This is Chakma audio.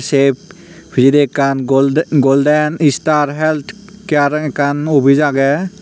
tep pichedi ekkan goldei golden istar health care ekkan obiz aagey.